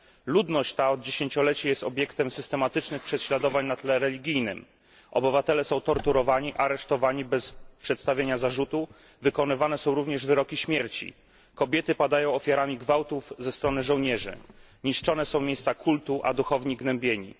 Ludność ta od dziesięcioleci jest obiektem systematycznych prześladowań na tle religijnym obywatele są torturowani, aresztowani, bez przedstawiania zarzutów wykonywane są również wyroki śmierci, kobiety padają ofiarami gwałtów ze strony żołnierzy, niszczone są miejsca kultu, a duchowni gnębieni.